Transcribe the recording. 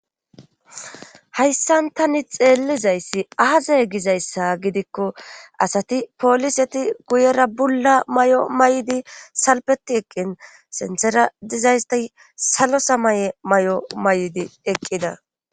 hayssan tani xeellizayssi aaze gizayssa gidikko asati poliseti guyera bulla mayo mayidi salpeti eqqin sinththera dizaysti salo samaye mayo maydi eqqida.